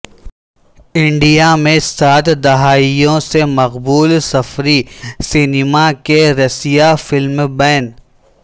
India میں سات دہائیوں سے مقبول سفری سینما کے رسیا فلم بین